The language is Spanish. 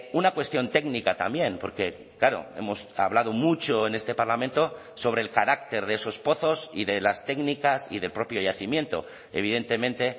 una cuestión técnica también porque claro hemos hablado mucho en este parlamento sobre el carácter de esos pozos y de las técnicas y del propio yacimiento evidentemente